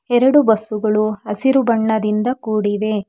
ಎರಡು ಬಸ್ಸುಗಳು ಹಸಿರು ಬಣ್ಣದಿಂದ ಕೂಡಿವೆ.